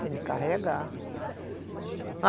Tem que carregar.